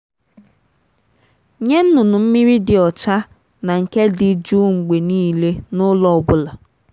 nye nnụnụ mmiri dị ọcha na nke dị jụụ mgbe niile n’ụlọ ọ bụla.